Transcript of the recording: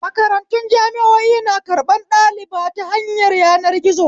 Makarantu jami'o'i na karɓan ɗaliba ta hanyar yanar gizo